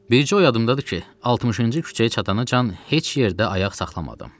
Bircə o yadımdadır ki, 60-cı küçəyə çatana can heç yerdə ayaq saxlamadım.